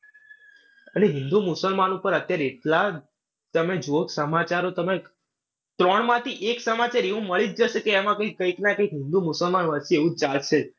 અને હિન્દુ-મુસલમાન ઉપર અત્યારે એટલા તમે જુઓ સમાચાર તો તમે ત્રણ માંથી એક સમાચાર એવું મળી જ જશે કે એમાં કઈ કંઈકના કંઈક હિન્દુ મુસલમાન વચ્ચે એવું ચાલશે જ.